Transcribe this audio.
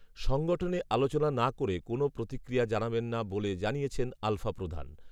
সংগঠনে আলোচনা না করে কোনও প্রতিক্রিয়া জানাবেন না বলে জানিয়েছেন আলফাপ্রধান